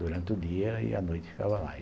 durante o dia e a noite ficava lá.